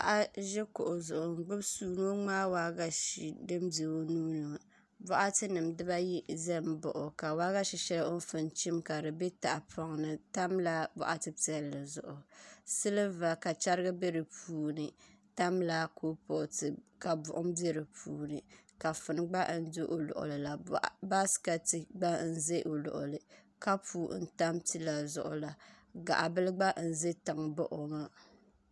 Paɣa n ʒi kuɣu zuɣu n gbubi suu ni o ŋmaa waagashe din bɛ o nuuni ŋo boɣati nim ʒimi baɣa o ka waagashe shɛli o ni pun chim kadi bɛ boɣati piɛlli silba ka chɛriga bɛ di puuni tamla kuripooti zuɣu ka buɣum bɛ di puuni kafuni gba n do o luŋuli la baaskɛt gba n ʒi o luɣuli kapu n tam pila zuɣu la gaɣa bili gba n ʒɛ tiŋ baɣa o ŋo